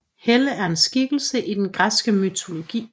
Helle er en skikkelse i den græske mytologi